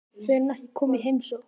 Fer hún ekki að koma í heimsókn?